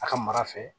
A ka mara fɛ